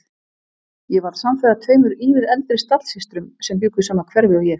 Ég varð samferða tveimur ívið eldri stallsystrum sem bjuggu í sama hverfi og ég.